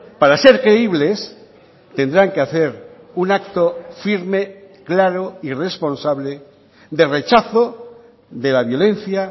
para ser creíbles tendrán que hacer un acto firme claro y responsable de rechazo de la violencia